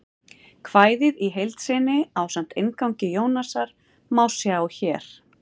Kvæðið í heild sinni, ásamt inngangi Jónasar, má sjá hér.